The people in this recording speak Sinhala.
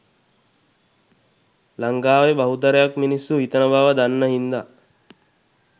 ලංකාවේ බහුතරයක් මිනිස්සු හිතන බව දන්න හින්දා